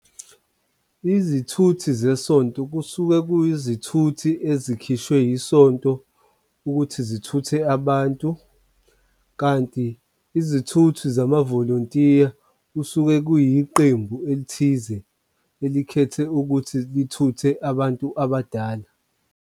Izithuthi zesonto kusuke kwiyizithuthi ezikhishwe yisonto ukuthi zithuthe abantu kanti izithuthi zamavolontiya kusuke kuyisiqembu elithize elikhethwe ukuthi lithuthe abantu abadala.